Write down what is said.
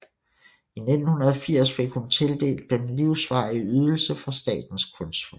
I 1980 fik hun tildelt den livsvarige ydelse fra Statens Kunstfond